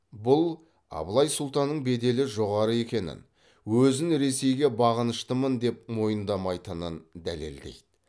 бұл абылай сұлтанның беделі жоғары екенін өзін ресейге бағыныштымын деп мойындамайтынын дәлелдейді